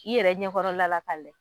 I yɛrɛ ɲɛkɔrɔla la ka lajɛ